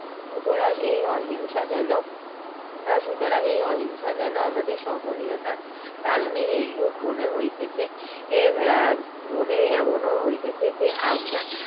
সুতরাং এই অহিংসা যেন সুতরাং এই অহিংসা যেন যেন আমাদের সহনীয়তার কারণেই এই রূপ মনে হইতেছে এ বা এমন ও মনে হইতেছে যে আমরা